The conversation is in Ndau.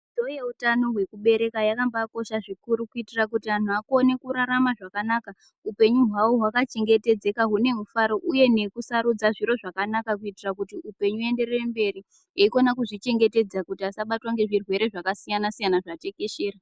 Dzidzo yehutano hwekubereka yakambakosha zvikuru kuitira kuti antu akone kurarama zvakanaka hupenyu hwavo hwakachengetedzeka hune mufaro uye nekusarudza zviro zvakanaka kuitira hupenyu huenderere mberi eikona kuzvichengetedza kuti asabatwa ngezvirwere zvakasiyana siyana zvatekeshera.